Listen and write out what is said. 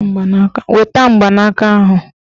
Weta mgbanaka ahụ!